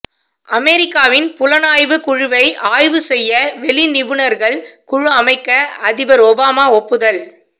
அமெரிக்காவின் புலனாய்வுக் குழுவை ஆய்வு செய்ய வெளி நிபுணர்கள் குழு அமைக்க அதிபர் ஒபாமா ஒப்புதல்